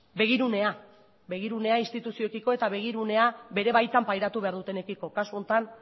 begirunea begirunea instituzioekiko eta begirunea bere baitan pairatu behar dutenekiko kasu honetan